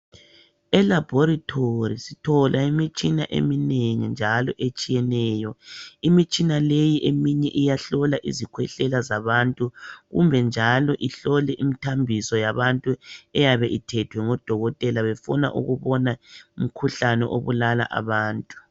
Elabhorethi sithola imitshina eminengi njalo etshiyeneyo. Imitshina leyi eminye iyahlola izikhwehlela zabantu kumbe njalo ihlole imithambiso yabantu eyabe ithethwe ngudokotela befuna ukubona umkhuhlane obulala abantu.